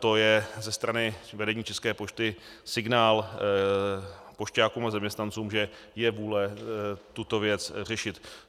To je ze strany vedení České pošty signál pošťákům a zaměstnancům, že je vůle tuto věc řešit.